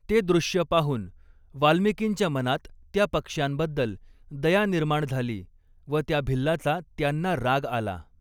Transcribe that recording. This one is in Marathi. ते दृश्य पाहून वाल्मिकींच्या मनात त्या पक्ष्यांबद्दल दया निर्माण झाली व त्या भिल्लाचा त्यांना राग आला.